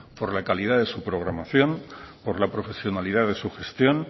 por la calidad de su programación por la profesionalidad de su gestión